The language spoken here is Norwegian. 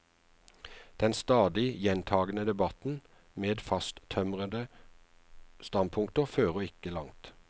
Den stadig gjentagende debatten, med fasttømrede standpunkter, fører ikke langt.